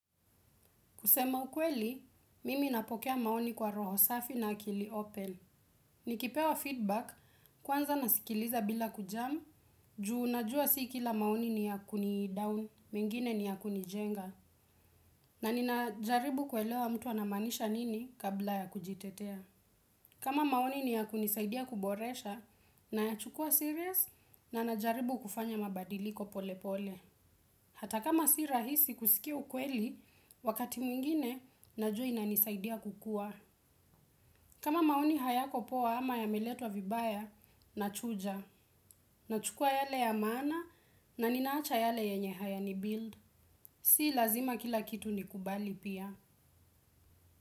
Kusema ukweli, mimi napokea maoni kwa roho safi na akili open. Nikipewa feedback, kwanza nasikiliza bila kujam, juu najua si kila maoni ni yakuni down, mengine ni ya kunijenga. Na ninajaribu kuelewa mtu anamaanisha nini kabla ya kujitetea. Kama maoni ni ya kuni saidia kuboresha, nayachukua serious, na najaribu kufanya mabadiliko pole pole. Hata kama si rahisi kusikia ukweli, wakati mwingine najua inanisaidia kukuwa. Kama maoni hayako poa ama yameletwa vibaya, nachuja. Nachukua yale ya maana na ninaacha yale yenye hayani build. Si lazima kila kitu ni kubali pia.